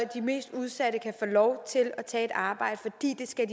de mest udsatte kan få lov til at tage et arbejde fordi de skal